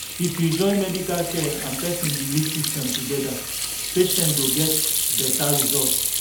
if we fit join medical care and person belief system together patients go get better results.